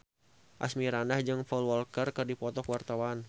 Asmirandah jeung Paul Walker keur dipoto ku wartawan